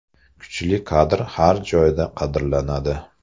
Kuchli kadr har joyda qadrlanadi.